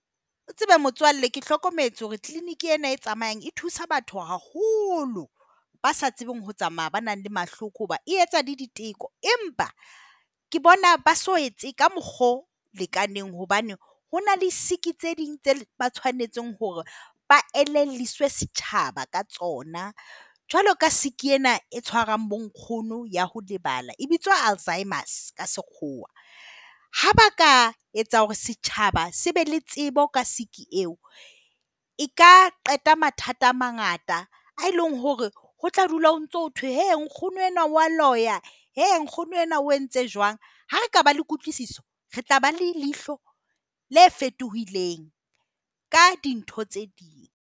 O tsebe motswalle ke hlokometse hore clinic ena e tsamayang e thusa batho haholo. Ba sa tsebeng ho tsamaya, ba nang le mahloko hobane e etsa le diteko. Empa ke bona ba so etse ka mokgwa o lekaneng hobane ho na le sick tse ding tseo ba tshwanetseng hore ba elelliswa setjhaba ka tsona. Jwalo ka sick ena e tshwarang bonkgono ya ho lebala, e bitswang alzheimers ka Sekgowa. Ha ba ka etsa hore setjhaba se be le tsebo ka sick eo eka qeta mathata a mangata a eleng hore ho tla dula ho ntse ho thwe nkgono enwa o a loya. He nkgono enwa o entse jwang. Ha re ka ba le kutlwisiso, re tla ba leihlo le fetohileng ka dintho tse ding.